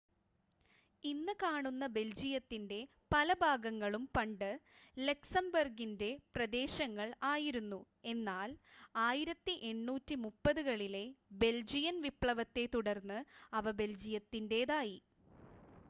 ഇന്ന് കാണുന്ന ബെൽജിയത്തിൻ്റെ പല ഭാഗങ്ങളും പണ്ട് ലക്സംബർഗിൻ്റെ പ്രദേശങ്ങൾ ആയിരുന്നു എന്നാൽ 1830 കളിലെ ബെൽജിയൻ വിപ്ലവത്തെ തുടർന്ന് അവ ബെൽജിയത്തിൻ്റേതായി